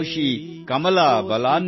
ತ್ರಿವರ್ಣ ಧ್ವಜದಲ್ಲಿ ನಮ್ಮ ಜೀವವಿದೆ